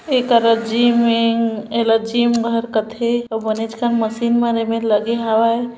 एकरे जिमिंग एला जिम कथे बनेच कन मशीन मन एमेर लगे हवे ।